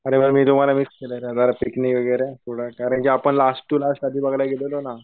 अरे वा मी तुम्हाला मिस केलं पिकनिक वगैरे कारण कि आपण लास्ट टूरला वगैरे गेलेलो ना.